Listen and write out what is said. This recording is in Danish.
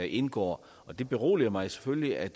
indgår det beroliger mig selvfølgelig at